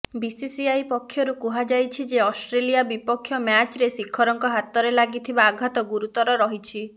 BCCI ପକ୍ଷରୁ କୁହାଯାଇଛି ଯେ ଅଷ୍ଟ୍ରେଲିଆ ବିପକ୍ଷ ମ୍ୟାଚ୍ରେ ଶିଖରଙ୍କ ହାତରେ ଲାଗିଥିବା ଆଘାତ ଗୁରୁତର ରହିଛି